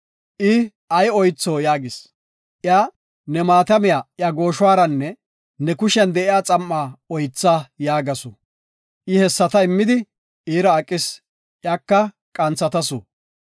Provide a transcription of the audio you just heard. I, “Ay oytho?” yaagis. Iya, “Ne maatamiya iya gooshuwaranne ne kushiyan de7iya xam7a oytha” yaagasu. I hessata immidi, iira aqis; iyaka qanthatasu.